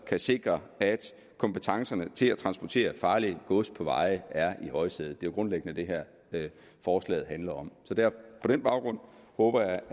kan sikre at kompetencerne til at transportere farligt gods på veje er i højsædet det er jo grundlæggende det forslaget handler om på den baggrund håber